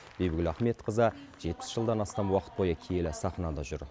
бибігүл ахметқызы жетпіс жылдан астам уақыт бойы киелі сахнада жүр